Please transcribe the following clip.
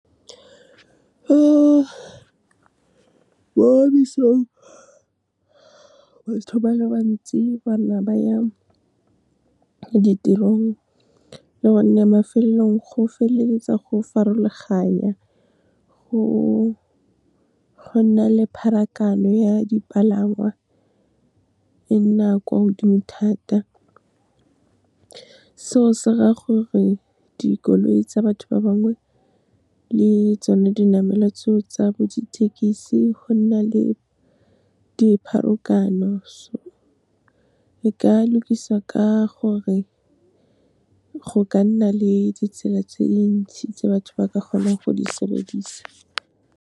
Mo mesong batho ba le bantsi ba nna ba ya ditirong, le gonne mafelelong go feleletsa go farologanya, go nna le pharakano ya dipalangwa, e nna kwa godimo thata. Seo se ra gore, dikoloi tsa batho ba bangwe le tsone dinamelwa tseo tsa bo dithekisi go nna le . Le ka lokisa ka gore go ka nna le ditsela tse di ntsi tse batho ba ka kgonang go di sebedisa.